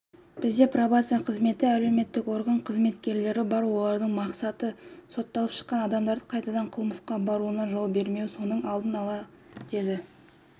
бізде пробация қызметі әлеуметтік орган қызметкерлері бар олардың мақсаты сотталып шыққан адамдардың қайтадан қылмысқа баруына жол бермеу соның алдын алу деді